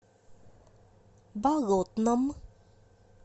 болотном